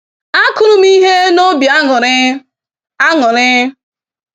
Akụrụ m ihe n'obi aṅụrị. aṅụrị.